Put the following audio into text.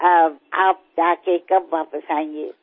আপনি গিয়ে কবে ফেরৎ আসবেন